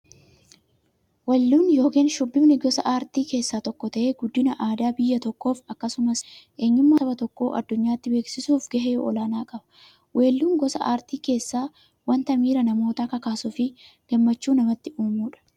Weelluun yookin shubbifni gosa aartii keessaa tokko ta'ee, guddina aadaa biyya tokkoof akkasumas eenyummaa saba tokkoo addunyaatti beeksisuuf gahee olaanaa qaba. Weelluun gosa artii keessaa wanta miira namootaa kakaasuufi gammachuu namatti uumudha.